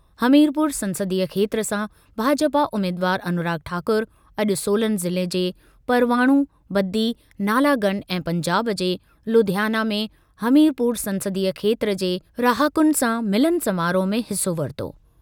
हमीरपुर संसदीय खेत्र सां भाजपा उमेदवारु अनुराग ठाकुर अॼु सोलन ज़िले जे परवाणू, बद्दी, नालागढ़ ऐं पंजाब जे लुधियाना में हमीरपुर संसदीय खेत्र जे रहाकुनि सां मिलन समारोह में हिसो वरितो।